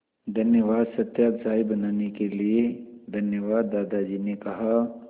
धन्यवाद सत्या चाय बनाने के लिए धन्यवाद दादाजी ने कहा